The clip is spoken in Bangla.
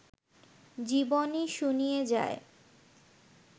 জীবনই শুনিয়ে যায়